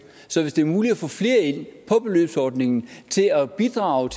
så hvis det er muligt at få flere ind på beløbsordningen til at bidrage